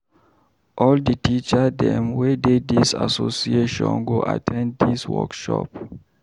All di teacher dem wey dey dis association go at ten d dis workshop.